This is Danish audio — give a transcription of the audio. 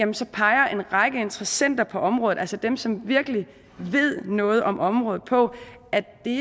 viser peger en række interessenter på området altså dem som virkelig ved noget om området på at det